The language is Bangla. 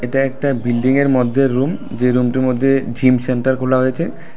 এটা একটা বিল্ডিং এর মধ্যে রুম যে রুম টির মধ্যে জিম সেন্টার খোলা হয়েচে।